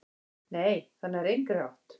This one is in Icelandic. """Nei, það nær engri átt."""